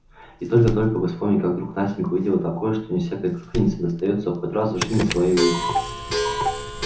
и только-только бы вспомнить как вдруг настенька увидела такое что не всякой клюквеннице достаётся хоть раз в жизни своей увидеть